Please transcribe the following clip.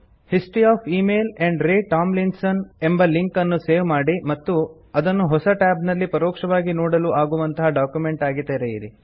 history of email amp ray Tomlinson ಎಂಬ link ಅನ್ನು save ಮಾಡಿ ಮತ್ತು ಅದನ್ನು ಹೊಸ ಟ್ಯಾಬ್ ನಲ್ಲಿ ಪರೋಕ್ಷವಾಗಿ ನೋಡುಲು ಆಗುವಂತಹ ಡಾಕ್ಯುಮೆಂಟ್ ಆಗಿ ತೆಗೆಯಿರಿ